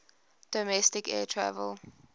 domestic air travel